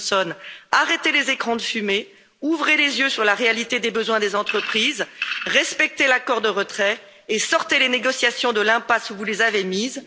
Johnson, arrêtez les écrans de fumée, ouvrez les yeux sur la réalité des besoins des entreprises, respectez l'accord de retrait et sortez les négociations de l'impasse où vous les avez mises.